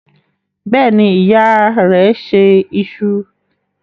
Bẹ́ẹ̀ ni, ìyá rẹ̀ se iṣu.